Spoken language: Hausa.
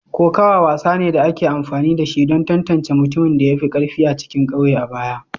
Kokawa wasa ne da ake amfani da shi don tantance mutumin da ya fi karfi a cikin kauye a baya.